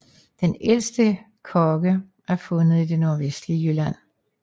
Den ældste kogge er fundet i det nordvestlige Jylland